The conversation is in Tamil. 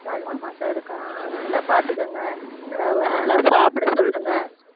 ரெண்டு மாசம் இருக்கா ஆஹ் நல்லா பாத்துக்கோங்க அக்காவை நல்லா சாப்பிட சொல்லுங்க